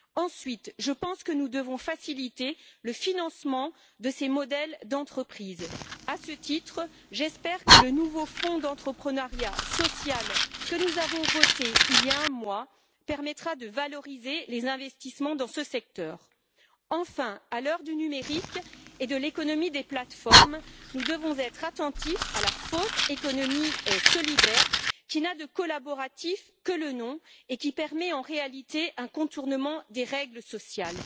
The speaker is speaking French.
Ensuite, je pense que nous devons faciliter le financement de ces modèles d'entreprise. À ce titre, j'espère que le nouveau fonds d'entrepreneuriat social, que nous avons voté il y a un mois, permettra de valoriser les investissements dans ce secteur. Enfin, à l'heure du numérique et de l'économie des plateformes, nous devons être attentifs à la fausse économie solidaire, qui n'a de collaboratif que le nom, et qui permet en réalité de contourner la réglementation sociale.